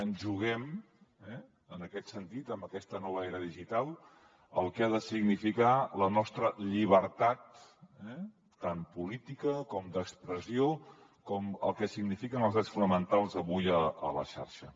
ens juguem eh en aquest sentit en aquesta nova era digital el que ha de significar la nostra llibertat tant política com d’expressió com el que signifiquen els drets fonamentals avui a la xarxa